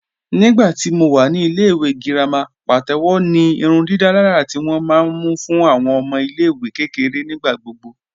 Nígbàtí mó wà ní ilẹ̀-ìwé gíràmà pàtẹwò ní ìrùndìdàlàrà tí wọn ma mú fún awọn ọmọ ilẹ̀-ìwé kẹkẹ̀rẹ̀ nígbàgbọ̀